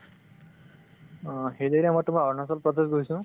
অ, hilly area মই তোমাৰ অৰুণাচল প্ৰদেশ গৈছো